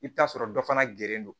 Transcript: I bɛ t'a sɔrɔ dɔ fana geren do